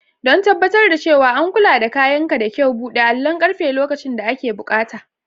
Don tabbatar da cewa an kula da kayanka da kyau, buɗe allon ƙarfe lokacin da ake buƙata.